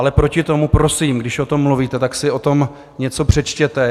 Ale proti tomu prosím, když o tom mluvíte, tak si o tom něco přečtěte.